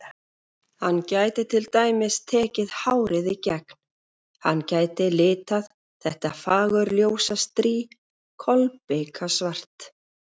Hann gæti til dæmis tekið hárið í gegn, hann gæti litað þetta fagurljósa strý kolbikasvart.